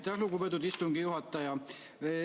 Aitäh, lugupeetud istungi juhataja!